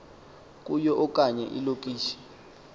kuyo okanye ilokishi